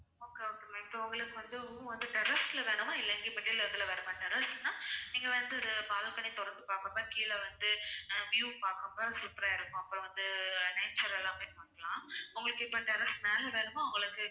okay okay ma'am இப்ப உங்களுக்கு room வந்து terrace ல வேணுமா இல்ல எங்கயும் middle இதுல வேணுமா? terrace னா நீங்க வந்து இது balcony தொறந்து பாக்குற மாதிரி கீழ வந்து அஹ் view பாக்கும்போது super ஆ இருக்கும் அப்புறம் வந்து nature எல்லாமே பார்க்கலாம் உங்களுக்கு இப்ப terrace மேல வேணுமா உங்களுக்கு